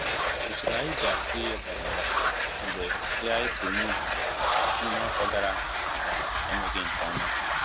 Usoro anyị ji akụ ihe gbanwere mgbe ihe anyị kụrụ n'ubi n'ime afọ gàrà aga emeghị nkè ọma